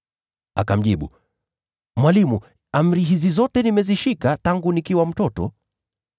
Akamjibu, “Mwalimu, amri hizi zote nimezishika tangu nikiwa mtoto.”